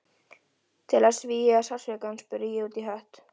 Hún valt mjög fyrir Skrúðinn og ég fann til sjóveiki.